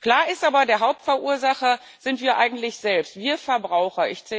Klar ist aber Der Hauptverursacher sind wir eigentlich selbst, wir Verbraucher.